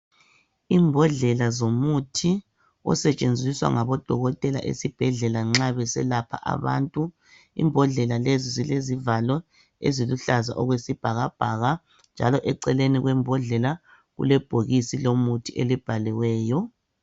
Imbodlela zomuthi osetshenziswa ngabo dokotela esibhedlela nxa beselapha abantu. Imbodlela lesi zilezivalo eziluhlaza okwesibhakabhaka, njalo eceleni kwembodlela kulebhokisi lomuthi elibhaliweyo.